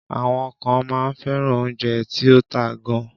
Àwọn kan máa ń fẹ́ràn oúnjẹ tí ó ta gan.